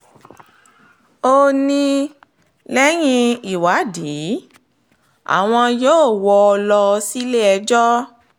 ó ní lẹ́yìn ìwádìí àwọn yóò wọ́ ọ lọ sílé-ẹjọ́